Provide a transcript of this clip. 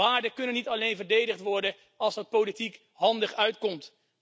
Waarden kunnen niet alleen verdedigd worden als dat politiek handig uitkomt.